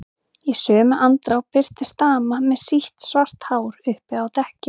Í sömu andrá birtist dama með sítt, svart hár uppi á dekki.